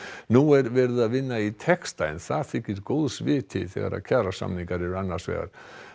nú er verið að vinna í texta en það þykir góðs viti þegar kjarasamningar eru annars vegar